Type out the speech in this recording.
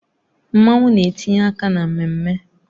Mmanwu na-etinye aka na mmemme